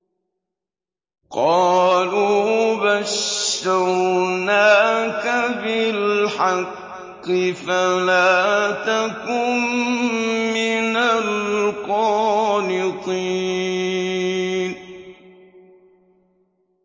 قَالُوا بَشَّرْنَاكَ بِالْحَقِّ فَلَا تَكُن مِّنَ الْقَانِطِينَ